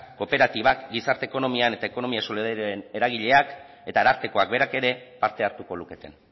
kooperatibak gizarte ekonomian eta ekonomia solidarioaren eragileak eta arartekoak berak ere parte hartuko luketen